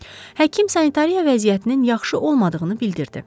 Həkim sanitariya vəziyyətinin yaxşı olmadığını bildirdi.